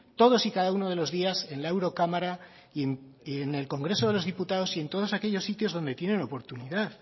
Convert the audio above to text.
todos y cada uno de los días en la eurocámara y en el congreso de los diputados y en todos aquellos sitios donde tienen oportunidad